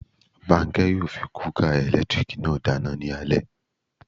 Bánkẹ́ yóò fi kúúkà ẹ̀lẹ́tírìkì náà dáná ní alé